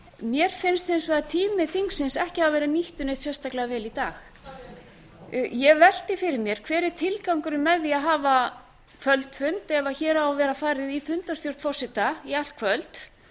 mér finnst hins vegar tími þingsins ekki hafa verið nýttur neitt sérstaklega vel í dag ég velti fyrir mér hver er tilgangurinn með því að hafa kvöldfund ef hér á að vera farið í fundarstjórn forseta í allt kvöld